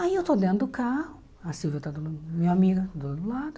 Aí eu estou dentro do carro, a Silvia está do meu lado, minha amiga do outro lado.